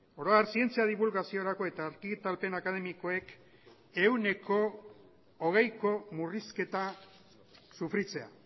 oro har zientzia dibulgaziorako eta argitalpen akademikoek ehuneko hogeiko murrizketa sufritzea